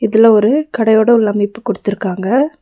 இதுல ஒரு கடையோட உள்ளமைப்பு குடுத்துருக்காங்க.